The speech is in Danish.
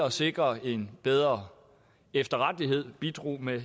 at sikre en bedre efterrettelighed bidrager med